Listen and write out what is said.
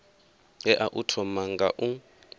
tea u thoma nga u